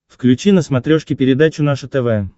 включи на смотрешке передачу наше тв